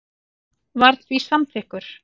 var því samþykkur.